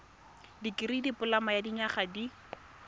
dikirii dipoloma ya dinyaga di